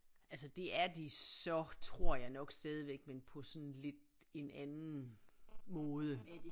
Altså det er de så tror jeg nok stadigvæk men på sådan lidt en anden måde